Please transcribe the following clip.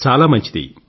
చాలా మంచిది